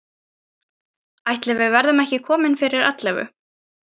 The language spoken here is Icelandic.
Ætli við verðum ekki komin fyrir ellefu.